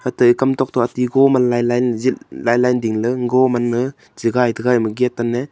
tai kam tok toh ati ko man lai lai ley ding ley go man na che gai te ema gate te nan ne--